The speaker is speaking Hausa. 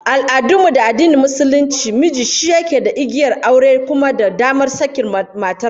A al'adun mu da addinin Musulunci, miji shi yake da igiyar aure da kuma damar sakin matar